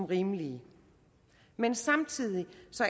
rimelige men samtidig